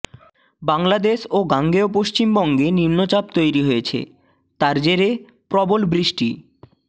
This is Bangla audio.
বাংলাদেশ ও গাঙ্গেয় পশ্চিমবঙ্গে নিম্নচাপ তৈরি হয়েছে তার জেরে প্রবল বৃষ্টি